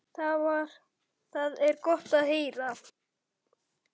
Það er gott að heyra.